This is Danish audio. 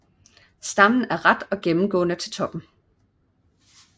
Stammen er ret og gennemgående til toppen